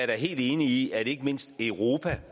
da helt enig i at ikke mindst europa